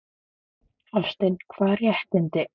Hafsteinn: Hvaða réttindi?